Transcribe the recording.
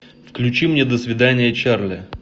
включи мне до свидания чарли